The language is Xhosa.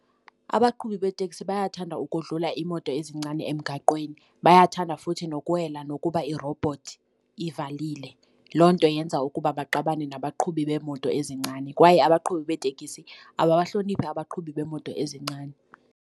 Abaqhubi beeteksi bayathanda ukodlula imoto ezincane emgaqweni bayathanda futhi nokuwela nokuba irobhothi ivalile. Loo nto yenza ukuba maxabane nabaqhubi beemoto ezincane kwaye abaqhubi beetekisi ababahloniphi abaqhubi beemoto ezincane.